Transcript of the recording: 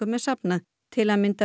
er safnað til að mynda